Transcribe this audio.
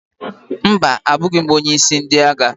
Mba, abụghị m onye isi ndị agha.